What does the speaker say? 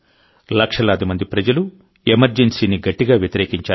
లక్షలాది మంది ప్రజలు ఎమర్జెన్సీని గట్టిగా వ్యతిరేకించారు